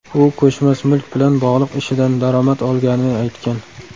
U ko‘chmas mulk bilan bog‘liq ishidan daromad olganini aytgan.